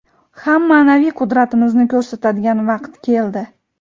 ham maʼnaviy qudratimizni koʼrsatadigan vaqt keldi.